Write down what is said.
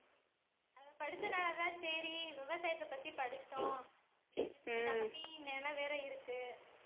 அது படிச்சனாலதான் சரி விவசாயத்தை பத்தி படிச்சோம் நிலம் வேற இருக்கு